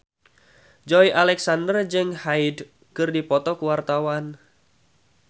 Joey Alexander jeung Hyde keur dipoto ku wartawan